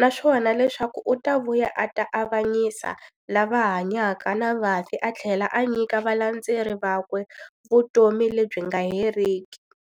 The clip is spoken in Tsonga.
naswona leswaku u ta vuya a ta avanyisa lava hanyaka na vafi athlela a nyika valandzeri vakwe vutomi lebyi nga heriki.